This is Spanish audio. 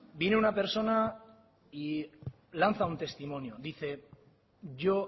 vine una persona y lanza un testimonio dice yo